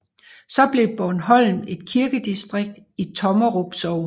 Så blev Broholm et kirkedistrikt i Tommerup Sogn